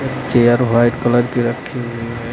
Chair white colour की रखी हुई है।